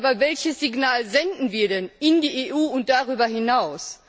Aber welches Signal senden wir denn in die EU und darüber hinaus?